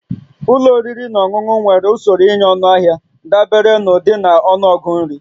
Ụlọ oriri na ọṅụṅụ nwere usoro ịnye ọnụahịa dabere n'ụdị na ọnụọgụ nri